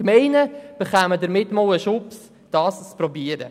Die Gemeinden bekämen damit einen Anschub, dies zu versuchen.